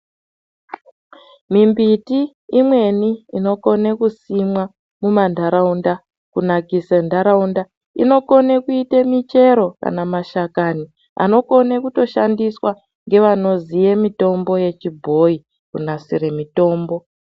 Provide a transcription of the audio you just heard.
Mimbiti imweni inokone kusimwa muma ndaraunda kunakise ndaraunda. Inokone kuite michero kana mashakani anokone kutoshandiswa ngevanoziye mitombo yechibhoyi kunasire mitombo.